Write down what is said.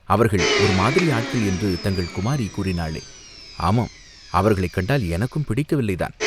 அவர்கள் ஒரு மாதிரி ஆட்கள் என்று தங்கள் குமாரி கூறினாளே?" "ஆமாம், அவர்களைக் கண்டால் எனக்கும் பிடிக்கவில்லை தான்.